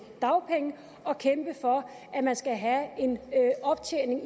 dagpenge og kæmpe for at man skal have en optjening